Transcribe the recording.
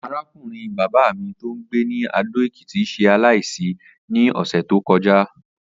Arákùnrin bàbá mi tó ń gbé ní Adó-Ekìtì s̩e aláìsí ní ò̩sè̩ tó ko̩já